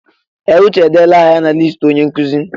Ee! Uche edeela aha ya na listi onye nkụzi.